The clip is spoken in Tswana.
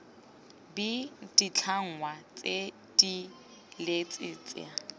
b ditlhangwa tse dileele tsa